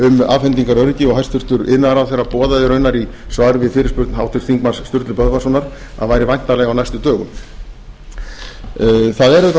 og hæstvirtur iðnaðarráðherra boðaði raunar í svari við fyrirspurn háttvirts þingmanns sturlu böðvarssonar að væri væntanleg á næstu dögum það er auðvitað